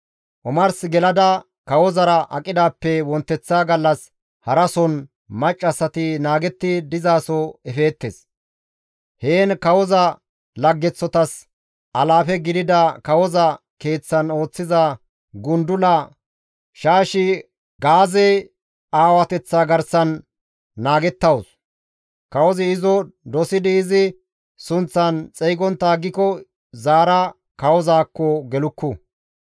Omars gelada kawozara aqidaappe wonteththa gallas harason maccassati naagetti dizaso efeettes. Heen kawoza laggeththotas alaafe gidida kawoza keeththan ooththiza gundula Shaashigaaze aawateththaa garsan naagettawus; kawozi izo dosidi izi sunththan xeygontta aggiko zaara kawozaakko gelukku.